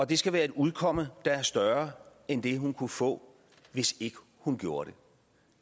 det skal være et udkomme der er større end det hun kunne få hvis ikke hun gjorde det